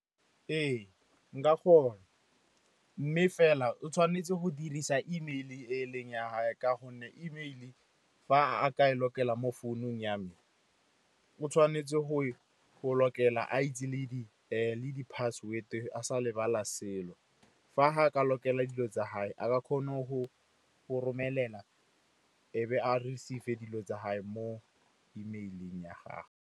Ee, nka kgona mme fela o tshwanetse go dirisa email e leng ya gage ka gonne email, fa a ka e tshwanetse mo founung ya me, o tshwanetse go tshwanetse a itse le di-password-e, a sa lebala selo. Fa a ka tshwanetse dilo tsa gage, a ka kgona go romelela e be a receive-e dilo tsa gage mo email-eng ya gagwe.